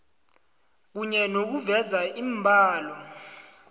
kunye nokuveza iimbalo